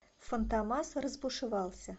фантомас разбушевался